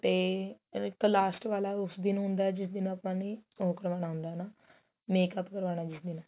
ਤੇ ਉਹ ਇੱਕ last ਵਾਲਾ ਉਸ ਦਿਨ ਹੁੰਦਾ ਜਿਸ ਦਿਨ ਆਪਾਂ ਨੇ ਉਹ ਕਰਾਉਣਾ ਹੁੰਦਾ ਨਾ makeup ਕਰਵਾਉਣਾ ਜਿਸ ਦਿਨ